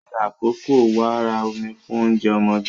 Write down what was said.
Ṣe àkọ́kọ́ wàrà ọmú fún oúnjẹ ọmọdé.